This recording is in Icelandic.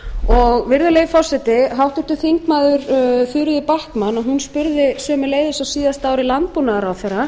slík virðulegi forseti háttvirtir þingmenn þuríður backman spurði sömuleiðis á síðasta ári landbúnaðarráðherra